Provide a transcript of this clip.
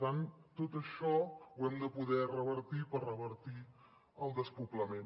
tot això ho hem de poder revertir per revertir el despoblament